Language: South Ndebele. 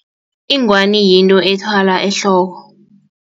Ingwani yinto ethwalwa ehloko.